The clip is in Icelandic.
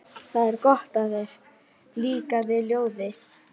Það er gott að þér líkaði ljóðið.